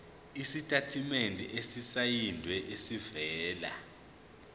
isitatimende esisayinelwe esivela